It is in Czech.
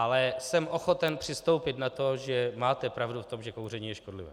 Ale jsem ochoten přistoupit na to, že máte pravdu v tom, že kouření je škodlivé.